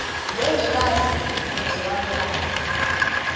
ngengculazi negciwane layo